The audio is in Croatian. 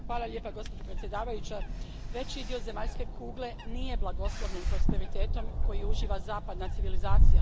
Poštovana predsjedavajuća, veći dio zemaljske kugle nije blagoslovljen prosperitetom koji uživa zapadna civilizacija.